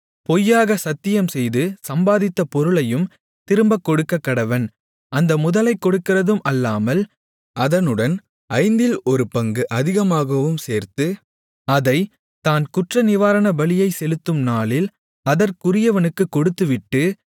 பொய்யாக சத்தியம் செய்து சம்பாதித்த பொருளையும் திரும்பக் கொடுக்கக்கடவன் அந்த முதலைக் கொடுக்கிறதும் அல்லாமல் அதனுடன் ஐந்தில் ஒரு பங்கு அதிகமாகவும் சேர்த்து அதைத் தான் குற்றநிவாரணபலியை செலுத்தும் நாளில் அதற்குரியவனுக்குக் கொடுத்துவிட்டு